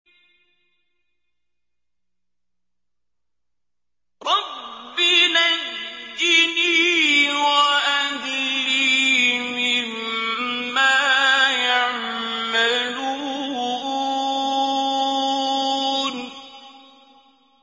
رَبِّ نَجِّنِي وَأَهْلِي مِمَّا يَعْمَلُونَ